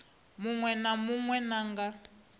munwe na munwe na nga